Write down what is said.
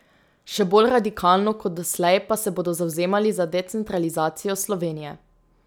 Še bolj radikalno kot doslej pa se bodo zavzemali za decentralizacijo Slovenije.